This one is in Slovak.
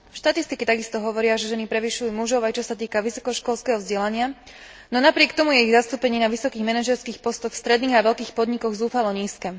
Štatistiky takisto hovoria, že ženy prevyšujú mužov, aj čo sa týka vysokoškolského vzdelania, no napriek tomu je ich zastúpenie na vysokých manažérskych postoch stredných a veľkých podnikov zúfalo nízke.